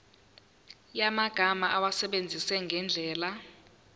yamagama awasebenzise ngendlela